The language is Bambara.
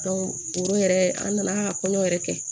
o yɛrɛ an nana kɔɲɔ yɛrɛ kɛ